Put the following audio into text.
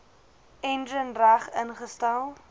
enjin reg ingestel